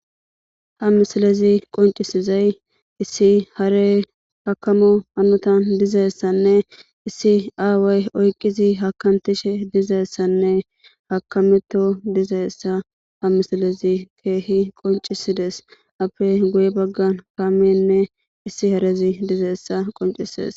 ha misilezi qoncisizay issi hare hakamo hanutan dizeessanne issi aaway oyqizi hakamtishe dizaessanne hakameto dizeessa ha misilezi keehi qoncisides appe guye baggan kaamenne issi harezi dizeessa qoncisees